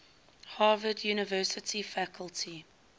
harvard university faculty